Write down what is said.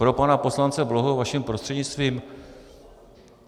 Pro pana poslance Bláhu vaším prostřednictvím.